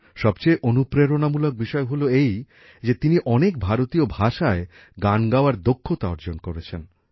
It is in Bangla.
সবচেয়ে অনুপ্রেরণামূলক বিষয় হল এই যে তিনি অনেক ভারতীয় ভাষায় গান গাওয়ার দক্ষতা অর্জন করেছেন